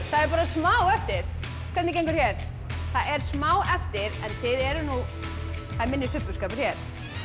það er bara smá eftir hvernig gengur hér það er smá eftir en það er minni subbuskapur hér